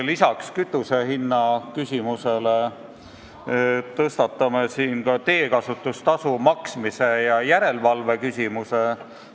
Peale kütusehinna küsimuse tõstatame teekasutustasu maksmise ja järelevalve küsimuse.